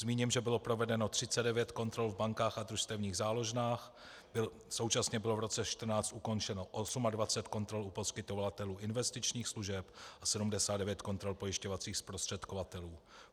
Zmíním, že bylo provedeno 39 kontrol v bankách a družstevních záložnách, současně bylo v roce 2014 ukončeno 28 kontrol u poskytovatelů investičních služeb a 79 kontrol pojišťovacích zprostředkovatelů.